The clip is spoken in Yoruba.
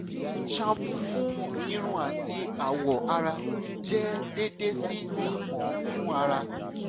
shampoo fun irun ati awọ ara jẹ deede si sápọn fun ara